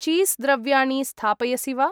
Cheese द्रव्याणि स्थापयसि वा?